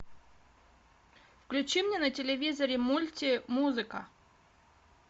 включи мне на телевизоре мульти музыка